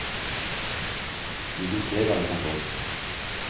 Vi vil se hva vi kan få.